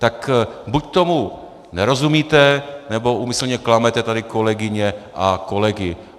Tak buď tomu nerozumíte, nebo úmyslně klamete tady kolegyně a kolegy.